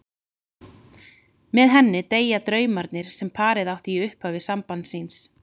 Með henni deyja draumarnir sem parið átti í upphafi sambands síns.